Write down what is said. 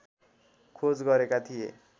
खोज गरेका थिए